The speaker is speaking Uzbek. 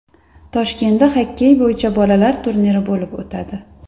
Toshkentda xokkey bo‘yicha bolalar turniri bo‘lib o‘tadi.